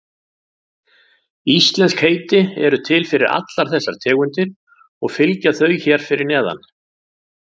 Íslensk heiti eru til fyrir allar þessar tegundir og fylgja þau hér fyrir neðan.